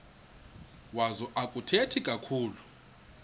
wazo akathethi kakhulu